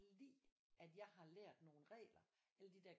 Lide at jeg har lært nogle regler alle de der